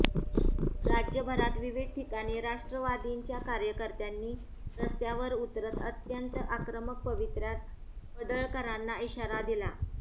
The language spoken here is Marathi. राज्यभरात विविध ठिकाणी राष्ट्रवादीच्या कार्यकर्त्यांनी रस्त्यावर उतरत अत्यंत आक्रमक पवित्र्यात पडळकरांना इशारा दिला